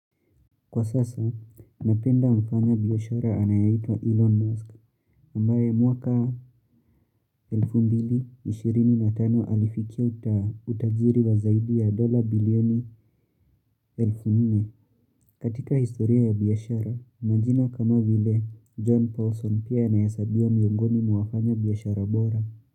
Kwa sasa, napenda mfanya biashara anayeitwa Elon Musk, ambaye mwakaelfu mbili ishirini na tano alifikia utajiri wa zaidi ya dola bilioni elfu nne. Katika historia ya biashara, majina kama vile John Paulson pia anahesabiwa miongoni mwa wafanyi biashara bora.